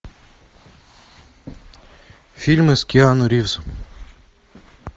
фильмы с киану ривзом